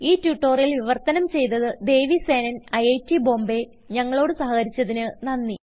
ഈ ട്യൂട്ടോറിയൽ വിവർത്തനം ചെയ്തത് ദേവി സേനൻIIT Bombayഞങ്ങളോട് സഹകരിച്ചതിന് നന്ദി